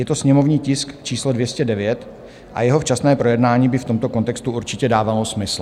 Je to sněmovní tisk číslo 209 a jeho včasné projednání by v tomto kontextu určitě dávalo smysl.